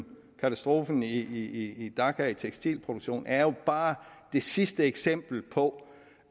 katastrofen i dhaka tekstilproduktionen er det jo bare det sidste eksempel på